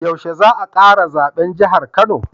Yaushe za a kara zaben jahar kano